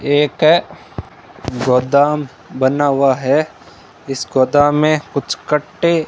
एक गोदाम बना हुआ है इस गोदाम में कुछ कट्टे --